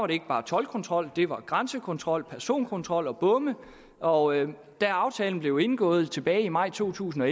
det ikke bare toldkontrol det var grænsekontrol personkontrol og bomme og da aftalen blev indgået tilbage i maj to tusind og